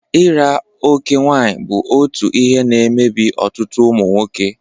ira oké nwaanyị bụ otu ihe na-emebi ọtụtụ ụmụ nwoke.